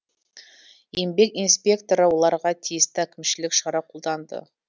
еңбек инспекторы оларға тисті әкімшілік шара қолданды